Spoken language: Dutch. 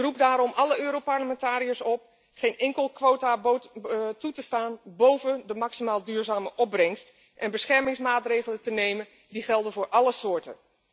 Ik roep daarom alle Europarlementariërs op geen quota toe te staan boven de maximaal duurzame opbrengst en beschermingsmaatregelen te nemen die gelden voor alle soorten.